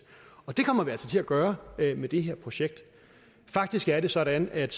og det kommer vi altså til at gøre med det her projekt faktisk er det sådan at